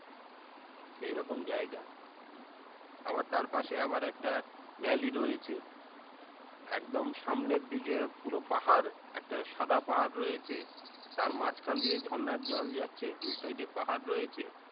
সেইরকম জাইগা আবার তারপাশে আবার একটা valley রয়েছে একদম সামনের দিকে পুরো পাহাড় একটা সাদা পাহাড় রয়েছে তার মাঝখান দিয়ে ঝরনার জল যাচ্ছে দুই side এ পাহাড় রয়েছে